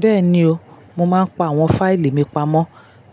Bẹ́ẹ̀ni o, mo máa ń pa àwọn fáìlì mi pamọ́